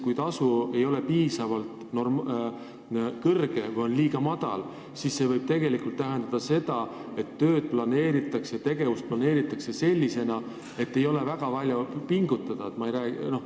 Kui tasu ei ole piisavalt kõrge või on liiga madal, siis see võib tegelikult tähendada seda, et tööd ja tegevused planeeritakse sellisena, et ei oleks vaja väga palju pingutada.